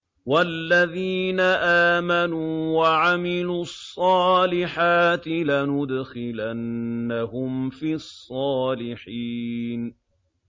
وَالَّذِينَ آمَنُوا وَعَمِلُوا الصَّالِحَاتِ لَنُدْخِلَنَّهُمْ فِي الصَّالِحِينَ